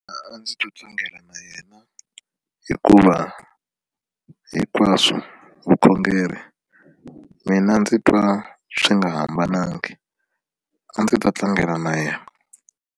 A ndzi to tlangela na yena hikuva hinkwaswo vukhongeri mina ndzi twa swi nga hambananga a ndzi ta tlangela na yena.